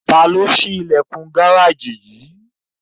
Tani o ṣi ilẹkun gareji yii?